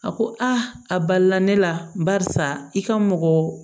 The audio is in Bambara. A ko a balila ne la barisa i ka mɔgɔ